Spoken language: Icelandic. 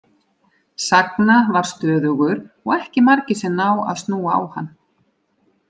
Sagna var stöðugur og ekki margir sem ná að snúa á hann.